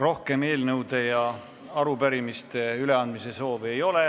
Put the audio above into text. Rohkem eelnõude ja arupärimiste üleandmise soovi ei ole.